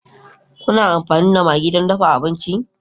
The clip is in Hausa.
Kuna amfani da maggi don dafa abinci?